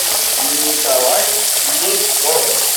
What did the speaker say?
николай нефедов